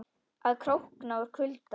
Og að krókna úr kulda.